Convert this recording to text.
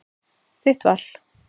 Þitt val.